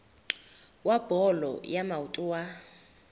wa bolo ya maoto wa